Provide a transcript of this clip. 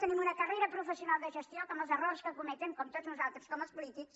tenim una carrera professional de ges·tió que amb els errors que cometen com tots nosal·tres com els polítics